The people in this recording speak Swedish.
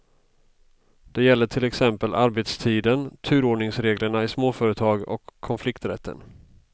Det gäller till exempel arbetstiden, turordningsreglerna i småföretag och konflikträtten.